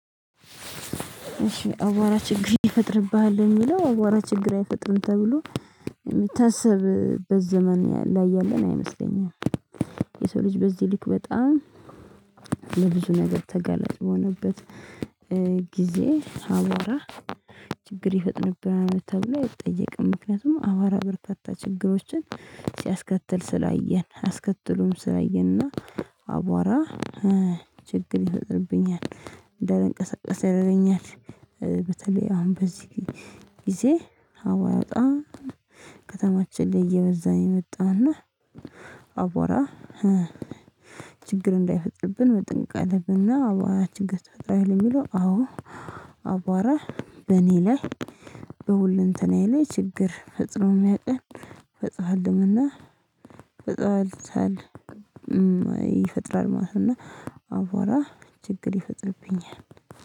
አቧራ ችግር ይፈጥርብሃል የሚለው አቧራ ችግር አይፈጥርም ተብሎ የሚታሰብበት ዘመን ላይ ያለን አይመስለኝም። የሰው ልጅ በዚህ ልክ በጣም ለብዙ ነገር ተገለጽ በሆነበት። ጊዜ አቧራ ችግር ይፈጥርብናል። ተብሎ አይጠየቅም ምክንያቱም አቧራ በርካታ ችግሮችን ሲያስከትል ስላየን አስከትሎም ስላየንና አቧራ ችግር ይፈጥርብኛል እንዳልንቀሳቀስ ያደረገኛል። በተለይ አሁን በዚህ ጊዜ አቧራ በጣም ከተማችን ላይ እየበዛን የመጣውና አቧራ ችግር እንዳይፈጥርብን መጠንቀቅ አለብና። አቧራ ችግር ይፈጥራል ለሚለው አዎ። አቧራ በእኔ ላይ በሁልንተናዬ ላይ ችግር ፈጽሮም ያውቃል ፈጥሮሯልም እና ፈጽሃልሳል ይፈጥራል ማለት ነው። አቧራ ችግር ይፈጥርብኛል።